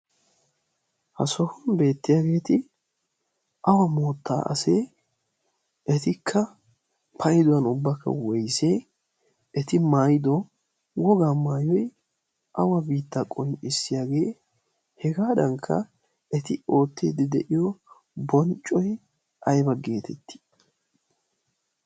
ha sohun beettiyaageeti awa moottaa asee etikka payduwan ubbakka woyssee eti maayido woga maayoy awa biitta qonccissiyaagee hegaadankka eti ootteeddi de'iyo bonccoy ayba geetettii